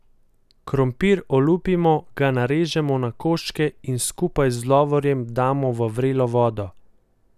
Krompir olupimo, ga narežemo na koščke in skupaj z lovorjem damo v vrelo vodo.